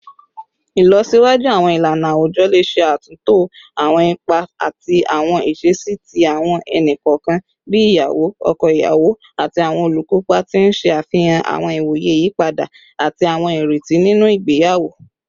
Ilọsiwaju awọn ilana awujọ le ṣe atunto awọn ipa ati awọn iṣesi ti awọn ẹni kọọkan bii iyawo, ọkọ iyawo, ati awọn olukopa, ti n ṣe afihan awọn iwoye iyipada ati awọn ireti ninu awọn igbeyawo